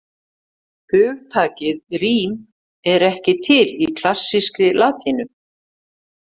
Hugtakið rím er ekki til í klassískri latínu.